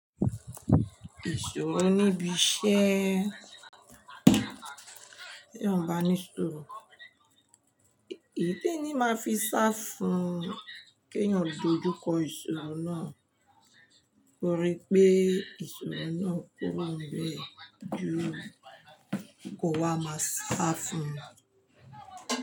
Ìṣòro níbi iṣẹ́, ti èyàn baní suuru. Í-ìyí tí ẹni máa fi sá fún keyan dojú kọ ìṣòro náà, korí pé ìṣòro náà kúrońbẹ, ju kò wá máa sá fún.